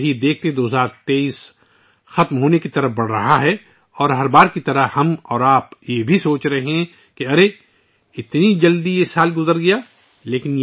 بہرحال، 2023 رفتہ رفتہ اپنے اختتام کی طرف بڑھ رہا ہے اور ہر بار کی طرح، میں اور آپ بھی سوچ رہے ہیں کہ دیکھو... یہ سال اتنی جلدی گزر گیا